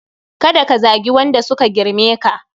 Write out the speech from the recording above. Ka da Ka zagi Wanda suka girme ka